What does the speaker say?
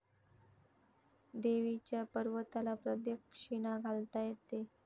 देवीच्या पर्वताला प्रदक्षिणा घालता येते.